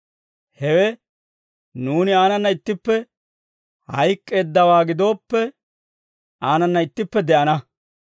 Hawe, «Nuuni aanana ittippe hayk'k'eeddawaa gidooppe, aanana ittippe de'ana.